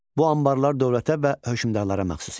Bu anbarlar dövlətə və hökmdarlara məxsus idi.